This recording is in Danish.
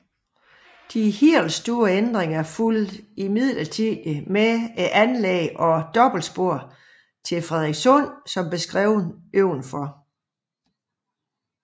De helt store ændringer fulgte imidlertid med anlægget af dobbeltspor til Frederikssund som beskrevet ovenfor